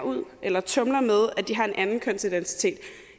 ud eller tumler med at de har en anden kønsidentitet